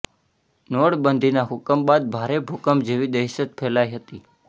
નોટબંધીના હુકમ બાદ ભારે ભૂકંપ જેવી દહેશત ફેલાઈ હતી